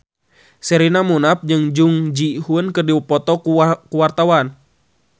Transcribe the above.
Sherina Munaf jeung Jung Ji Hoon keur dipoto ku wartawan